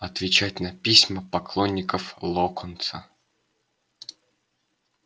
отвечать на письма поклонников локонса